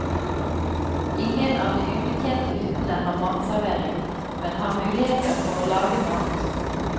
Ingen av de ubetjente hyttene har matservering, men har muligheter for å lage mat.